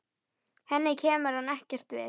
Henni kemur hann ekkert við.